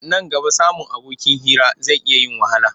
Nan gaba samun abokin hira zai iya yin wahala.